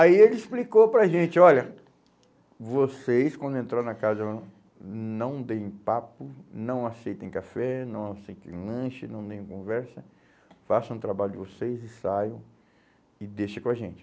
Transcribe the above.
Aí ele explicou para a gente, olha, vocês, quando entraram na casa, não deem papo, não aceitem café, não aceitem lanche, não deem conversa, façam o trabalho de vocês e saiam e deixem com a gente.